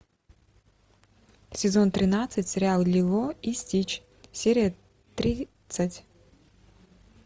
сезон тринадцать сериал лило и стич серия тридцать